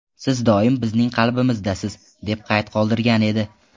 Siz doim bizning qalbimizdasiz!”, deb qayd qoldirgan edi.